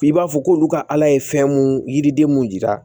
F'i b'a fɔ k'olu ka ala ye fɛn mun yiriden mun jira